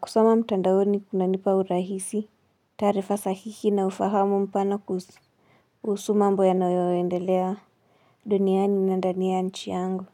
Kusma mtandaoni kuna nipa urahisi, taarifa sahihi na ufahamu mpana kuhusu mambo yanayoendelea duniani na dani ya nchi yangu.